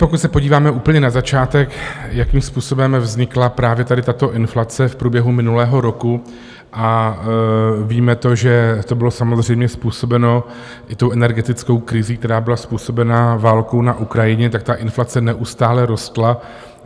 Pokud se podíváme úplně na začátek, jakým způsobem vznikla právě tady tato inflace v průběhu minulého roku, a víme to, že to bylo samozřejmě způsobeno i tou energetickou krizí, která byla způsobena válkou na Ukrajině, tak ta inflace neustále rostla.